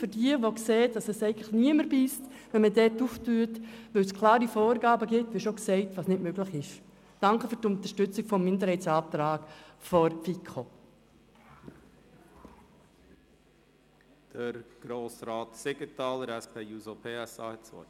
Danke, wenn Sie einsehen, dass die erweiterten Öffnungszeiten für die Untere Altstadt wegen der klaren Vorgaben niemandem wehtun, und den Antrag der FiKo-Minderheit unterstützen.